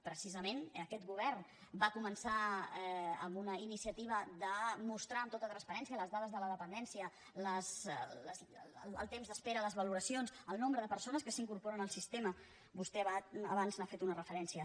precisament aquest govern va començar amb una iniciativa de mostrar amb tota transparència les dades de la dependència el temps d’espera les valoracions el nombre de persones que s’incorporen al sistema vostè abans hi ha fet una referència